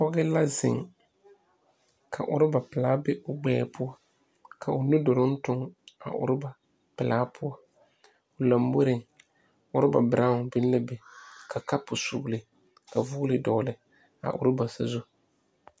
Pɔge la zeŋ ka ɔraba pelaa be o gbɛɛ poɔ ka o nu duluŋ tuŋ a ɔrɔba pelaa poɔ lomboriŋ ɔraba beraaŋ biŋ la a be ka kapo sugli ka vɔgle dɔgle a ɔraba sazu.